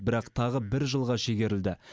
бірақ тағы бір жылға шегерілді